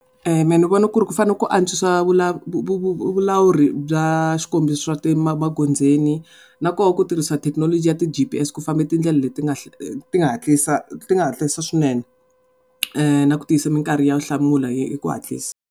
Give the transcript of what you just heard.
Mehe ni vona ku ri ku fanele ku antswisiwa vu vulawuri bya swikombiso swa ti magondzweni nakoho ku tirhisa thekinoloji ya ti G_P_S ku famba tindlela leti nga ti nga hantlisa swinene na ku tiyisa minkarhi ya ku hlamula hi hi ku hantlisa.